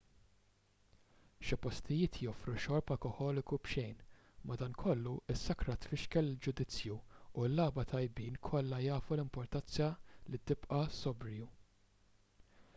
xi postijiet joffru xorb alkoħoliku b'xejn madankollu is-sakra tfixkel il-ġudizzju u l-lagħba tajbin kollha jafu l-importanza li tibqa' sobriju